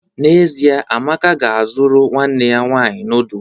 N'ezie, Amaka ga-azụrụ nwanne ya nwanyị noodu.